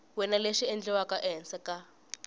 wana lexi endliwaka ehansi ka